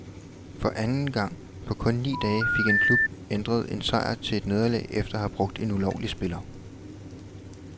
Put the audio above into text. For anden gang på kun ni dage fik en klub ændret en sejr til et nederlag efter at have brugt en ulovlig spiller.